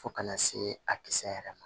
Fo kana see a kisɛ yɛrɛ ma